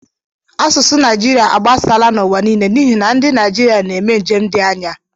Asụsụ Naịjirịa agbasala n'ụwa niile n'ihi na ndị Naịjirịa na-eme njem dị anya